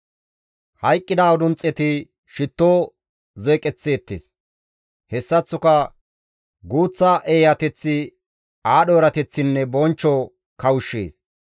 Hayqqida udunxxeti shitto zeeqeththeettes; hessaththoka guuththa eeyateththi aadho erateththinne bonchcho kawushshees.